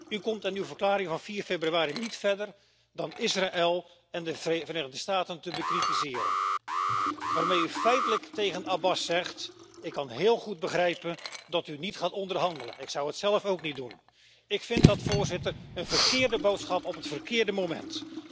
U komt in uw verklaring van 4 februari niet verder dan Israël en de Verenigde Staten te bekritiseren, waarmee u feitelijk tegen Abbas zegt Ik kan heel goed begrijpen dat u niet gaat onderhandelen, ik zou het zelf ook niet doen. Ik vind dat een verkeerde boodschap op het verkeerde moment.